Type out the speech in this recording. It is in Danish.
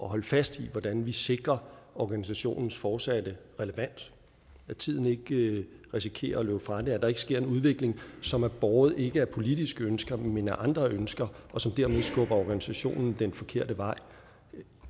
at holde fast i hvordan vi sikrer organisationens fortsatte relevans at tiden ikke risikerer at løbe fra den at der ikke sker en udvikling som er båret ikke af politiske ønsker men af andre ønsker og som dermed skubber organisationen den forkerte vej